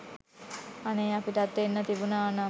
අනේ අපිටත් එන්න තිබුනනම්